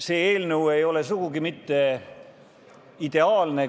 See eelnõu ei ole sugugi mitte ideaalne.